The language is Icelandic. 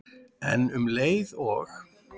En um leið og